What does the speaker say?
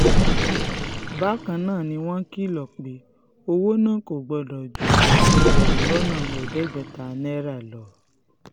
bákan náà ni wọ́n kìlọ̀ pé owó náà kò gbọ́dọ̀ ju ẹgbẹ̀rún lọ́nà ẹ̀ẹ́dẹ́gbẹ̀ta náírà lọ